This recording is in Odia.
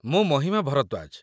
ମୁଁ ମହିମା ଭରଦ୍ୱାଜ